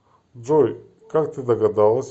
джой как ты догадалась